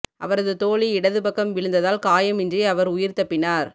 அவரது தோழி இடது பக்கம் விழுந்ததால் காயமின்றி அவர் உயிர் தப்பினார்